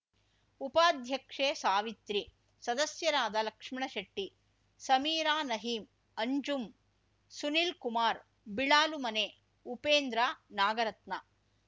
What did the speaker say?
ಉಪಾಧ್ಯಕ್ಷೆ ಸಾವಿತ್ರಿ ಸದಸ್ಯರಾದ ಲಕ್ಷ್ಮಣಶೆಟ್ಟಿ ಸಮೀರಾನಹೀಂ ಅಂಜುಂ ಸುನೀಲ್‌ ಕುಮಾರ್‌ ಬಿಳಾಲುಮನೆ ಉಪೇಂದ್ರ ನಾಗರತ್ನ